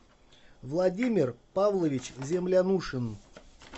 владимир павлович землянушин